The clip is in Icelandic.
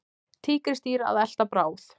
Tígrisdýr að elta bráð.